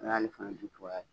O y'ale fana cogoya ye